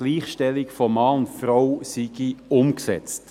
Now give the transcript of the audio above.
Die Gleichstellung von Mann und Frau sei umgesetzt.